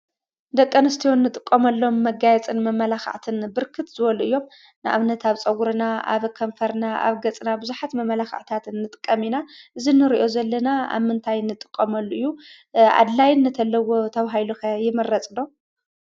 ደቂ ኣንስትዮ ንጥቀመሎም መጋየፅን መመላክዕን ብርክት ዝበሉ እዮም። ንኣብነት ኣብ ፀጉርና፣ ኣብ ከንፈርና፣ ኣብ ገፅና ብዙሓት መመላክዕታት ንጥቀም ኢና፤ እዚ እንሪኦ ዘለና ኣብ ምንታይ ንጥቀመሉ እዩ? ኣድላይነት ኣለዎ ተባሂሉ ይምረፅ ዶ?